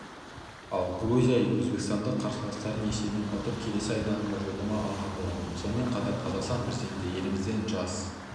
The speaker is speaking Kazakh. алгрузия өзбекстандық қарсыластарын есебімен ұтып келесі айналымға жолдама алған болатын сонымен қатар қазақстан президенті елімізде жас